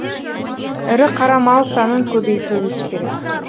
ірі қара мал санын көбейтуіміз керек